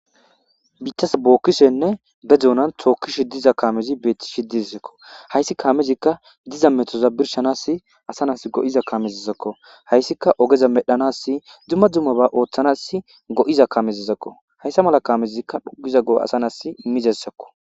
biittas bookkishenne be dunan tookkishi diza kaamezi beeti shidizekko hayssi kaamezikka diza metoza birshanas asanas go7iza kaamezizakko hayssika ogeza medhanas dzumma dzumma ba ooththanas go7iza kamezizakko hayssa mala kaamezikka phogiza go7o asanas imizessakko